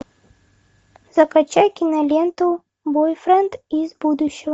закачай киноленту бойфренд из будущего